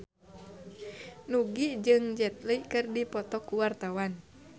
Nugie jeung Jet Li keur dipoto ku wartawan